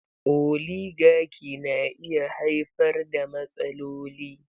Oligaki na iya haifar da matsaloli.